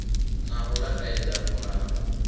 na u lambedza u lafha